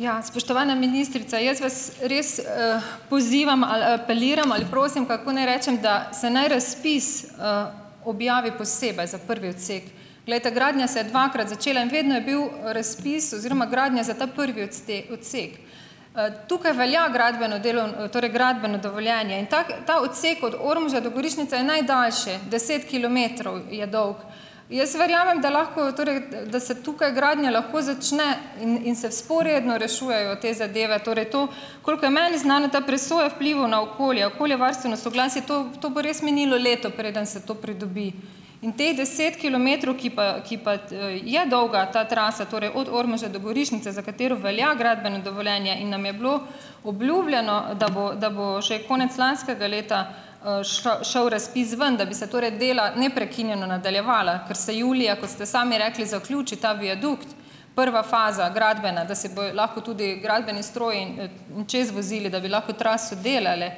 Ja, spoštovana ministrica, jaz vas res, pozivam ali apeliram ali prosim, kako naj rečem, da se naj razpis, objavi posebej za prvi odsek. Glejte, gradnja se je dvakrat začela in vedno je bil, razpis oziroma gradnja za ta prvi odsek. Tukaj velja gradbeno torej gradbeno dovoljenje in tako ta odsek od Ormoža do Gorišnice je najdaljši, deset kilometrov je dolg. Jaz verjamem, da lahko, torej, da, da se tukaj gradnja lahko začne in in se vzporedno rešujejo te zadeve, torej to, koliko je meni znano, ta presoja vplivov na okolje, okoljevarstveno soglasje, to, v, to bo res minilo leto, preden se to pridobi, in teh deset kilometrov, ki pa, ki pa, je dolga ta trasa, torej od Ormoža do Gorišnice, za katero velja gradbeno dovoljenje in nam je bilo obljubljeno, da bo, da bo že konec lanskega leta, šel razpis ven, da bi se torej dela neprekinjeno nadaljevala, ker se julija, kot ste sami rekli, zaključi ta viadukt, prva faza, gradbena, da se bo lahko tudi gradbeni stroji in, čez vozili, da bi lahko traso delale.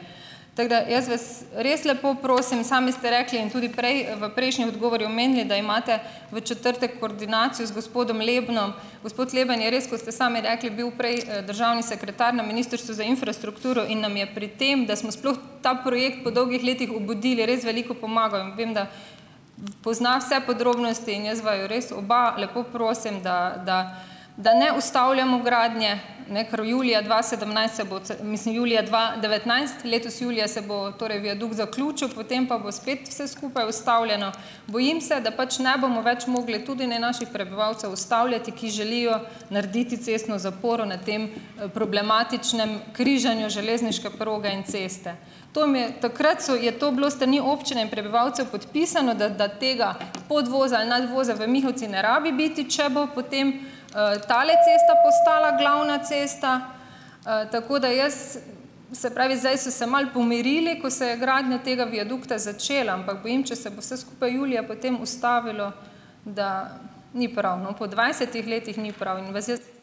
Tako da, jaz vas res lepo prosim, sami ste rekli in tudi prej, v prejšnjem odgovoru omenili, da imate v četrtek koordinacijo z gospodom Lebnom. Gospod Leben je res, kot ste sami rekli, bil prej, državni sekretar na Ministrstvu za infrastrukturo in nam je pri tem, da smo sploh ta projekt po dolgih letih obudili, res veliko pomagal in vem, da pozna vse podrobnosti in jaz vaju res oba lepo prosim, da, da da ne ustavljamo gradnje, ne, kar julija dva sedemnajst se bo c, mislim julija dva devetnajst, letos julija, se bo torej viadukt zaključil, potem pa bo spet vse skupaj ustavljeno. Bojim se, da pač ne bomo več mogli, tudi ne naši prebivalcev ustavljati, ki želijo narediti cestno zaporo na tem, problematičnem križanju železniške proge in ceste. To mi je, takrat so, je bilo to s strani občine in prebivalcev podpisano, da, da tega podvoza, nadvoza v Mihovcih ne rabi biti, če bo potem, tale cesta postala glavna cesta, tako da jaz, se pravi, zdaj so se malo pomirili, ko se je gradnja tega viadukta začela, ampak bojim, če se bo vse skupaj julija potem ustavilo, da ni prav, no. Po dvajsetih letih ni prav in vas jaz ...